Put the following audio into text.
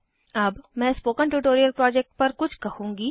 अब मैं spoken tutorial project पर कुछ कहूँगी